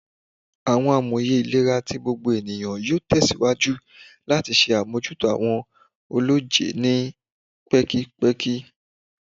Awọn amoye ilera ti gbogbo eniyan yoo tẹsiwaju lati ṣe abojuto awọn ọlọjẹ ni pẹkipẹki